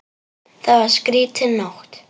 Það var skrýtin nótt.